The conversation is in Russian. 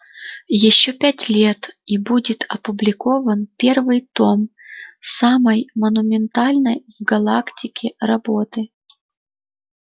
ещё пять лет и будет опубликован первый том самой монументальной в галактике работы